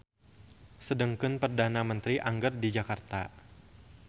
Sedengkeun perdana menteri angger di Jakarta.